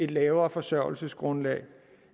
lavere forsørgelsesgrundlag